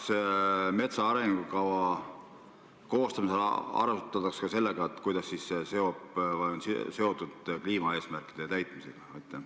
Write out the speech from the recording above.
Kas metsa arengukava koostamisel arvestatakse sellega, kuidas see on seotud kliimaeesmärkide täitmisega?